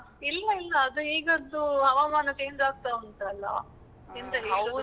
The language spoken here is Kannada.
ಇಲ್ಲ ಇಲ್ಲ, ಅದು ಈಗದ್ದು ಹವಾಮಾನ change ಆಗ್ತಾ ಉಂಟಲ್ಲಾ.